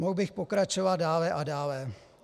Mohl bych pokračovat dále a dále.